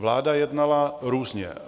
Vláda jednala různě.